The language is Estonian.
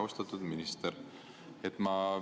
Austatud minister!